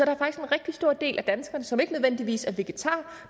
rigtig stor del af danskerne som ikke nødvendigvis er vegetarer